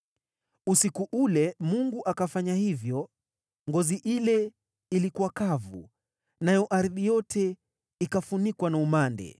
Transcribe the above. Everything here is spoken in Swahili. Usiku ule Mungu akafanya hivyo. Ngozi ile ilikuwa kavu, nayo ardhi yote ikafunikwa na umande.